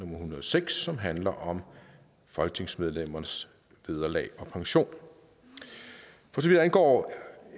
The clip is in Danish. hundrede og seks som handler om folketingsmedlemmernes vederlag og pension for så vidt angår